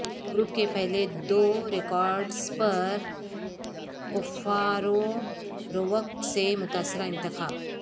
group کے پہلے دو ریکارڈز پر کفارورورک سے متاثرہ انتخاب